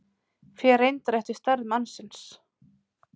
Fer reyndar eftir stærð mannsins.